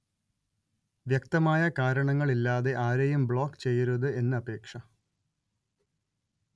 വ്യക്തമായ കാരണങ്ങള്‍ ഇല്ലാതെ ആരെയും ബ്ലോക്ക് ചെയ്യരുത് എന്ന് അപേക്ഷ